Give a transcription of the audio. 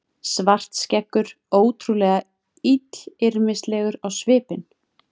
Svartskeggur ótrúlega illyrmislegur á svipinn.